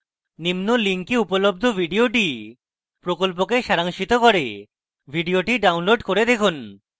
নিম্ন link উপলব্ধ video প্রকল্পকে সারাংশিত করে video download করে দেখুন